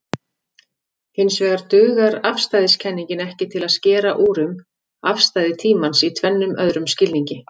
Hinsvegar dugar afstæðiskenningin ekki til að skera úr um afstæði tímans í tvennum öðrum skilningi.